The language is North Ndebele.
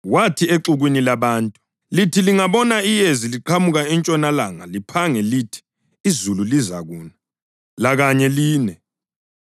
Wathi exukwini labantu: “Lithi lingabona iyezi liqhamuka entshonalanga liphange lithi, ‘Izulu lizakuna,’ lakanye line.